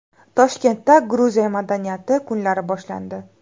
Toshkentda Gruziya madaniyati kunlari boshlandi.